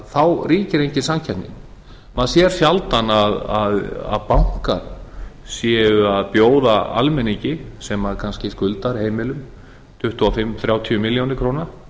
þá ríkir ekki samkeppni maður sér í rauninni að bankar eru að bjóða almenningi sem kannski skuldar heimilum tuttugu og fimm til þrjátíu milljónir króna